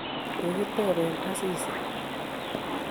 Kikitebe Asisi